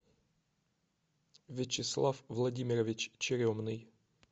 вячеслав владимирович черемный